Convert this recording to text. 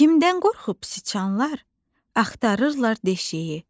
Kimdən qorxub siçanlar, axtarırlar deşiyi?